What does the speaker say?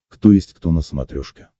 кто есть кто на смотрешке